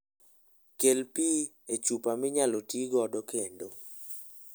Kel pi e chupa minyalo ti godo kendo.